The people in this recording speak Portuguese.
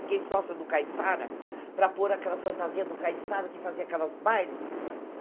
Fiquei sócia do Caissara, para pôr aquelas fantasias do Caissara, que fazia aquelas bailes.